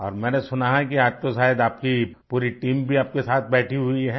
और मैंने सुना है कि आज तो शायद आप की पूरी टीम भी आपके साथ बैठी हुई है